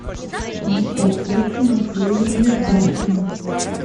анастасия тимофеевна юрташкина